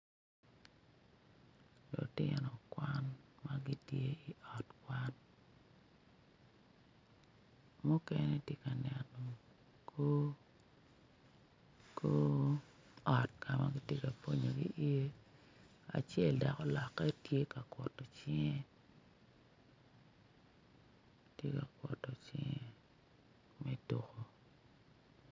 Lutino kwan ma gitye i ot kwan mukene gitye ka neno kor ot ka ma kitye ka pwonyogi iye acel dok olokke tye ka kuto cinge tye ka kuto cinge me tuko.